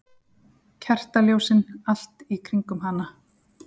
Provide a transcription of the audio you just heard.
Kertaljósin allt í kringum hana.